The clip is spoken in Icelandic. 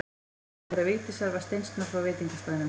Heimili þeirra Vigdísar var steinsnar frá veitingastaðnum.